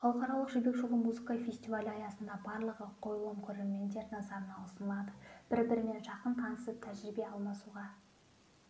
халықаралық жібек жолы музыка фестивалі аясында барлығы қойылым көрермендер назарына ұсынылады бір-бірімен жақын танысып тәжірибе алмасуға